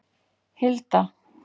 Hilda